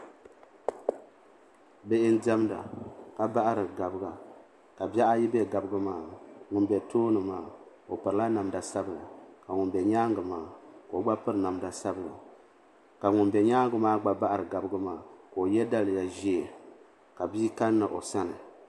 Bihi n diɛmda ka bahiri gabiga ka bihi ayi be gabiga maa ni ŋun be tooni maa o pirila namda sabla ka ŋun be nyaanga maa ka o gba piri namda sabla ka ŋun be nyaanga maa gba bahiri gabiga maa ka o ye daliya ʒee ka bia kanna o sani.